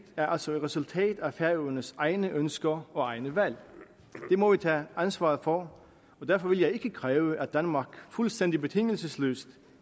er altså et resultatet af færingernes egne ønsker og egne valg det må vi tage ansvaret for og derfor vil jeg ikke kræve at danmark fuldstændig betingelsesløst